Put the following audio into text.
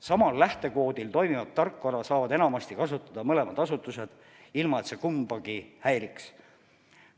Sama lähtekoodiga tarkvara saavad enamasti kasutada mõlemad asutused korraga, ilma et see kumbagi häiriks.